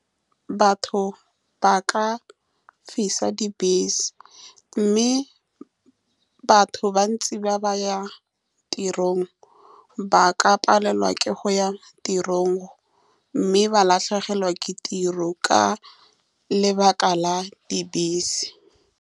Batho ba ka fisa dibese, mme batho ba bantsi ba ba ya tirong ba ka palelwa ke go ya tirong, mme ba latlhegelwa ke tiro ka lebaka la dibese.